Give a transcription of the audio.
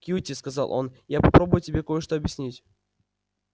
кьюти сказал он я попробую тебе кое-что объяснить